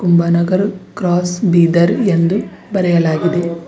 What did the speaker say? Kumbhanagar cross Bidar ಎಂದು ಬರೆಯಲಾಗಿದೆ.